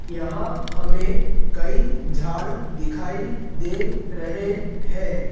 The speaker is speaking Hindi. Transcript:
यहां हमें कई झाड़ दिखाई दे रहे हैं।